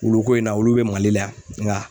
Wuluko in na olu bɛ Mali la yan nka